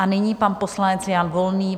A nyní pan poslanec Jan Volný.